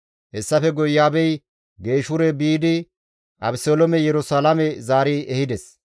Hessafe guye Iyo7aabey Geeshure biidi Abeseloome Yerusalaame zaari ehides.